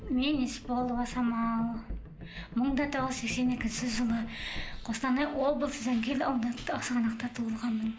мен есболова самал мың да тоғыз жүз сексен екінші жылы қостанай облысы жангелді ауданында ақсығанақта туылғанмын